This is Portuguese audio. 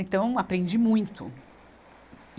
Então, aprendi muito. E